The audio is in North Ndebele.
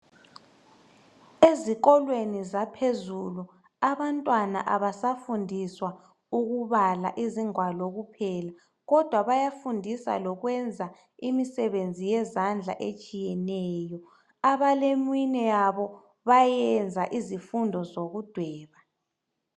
Ezikolweni zaphezulu abantwana abasafundiswa ukubala izingwalo kuphela kodwa bayafundiswa lokwenza imisebenzi yezandla etshiyeneyo abaleminwenyabo bayenya bayenza izifundo zokudweba.